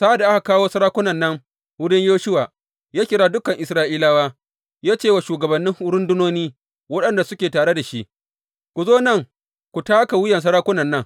Sa’ad da aka kawo sarakunan nan wurin Yoshuwa, ya kira dukan Isra’ilawa ya ce wa shugabannin rundunoni waɗanda suke tare da shi, Ku zo nan ku taka wuyan sarakunan nan.